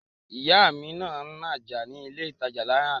Ìyá mi ń nájà ní ilé ìtajà ní àná